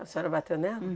A senhora bateu nela?